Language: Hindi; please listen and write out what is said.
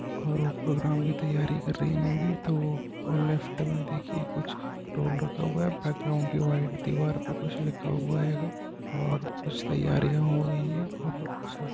और वो प्रोग्राम की तैयारी कर रही है मे बी तो और लेफ्ट मे देखिए कुछ टोल रखा हुआ है| बैकराउन्ड की व्हाइट दीवार पे कुछ लिखा हुआ होगा और कुछ तैयारियां हो रही है और उस --